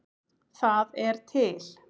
Það er til